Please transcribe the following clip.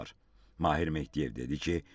Mahir Mehdiyev dedi ki,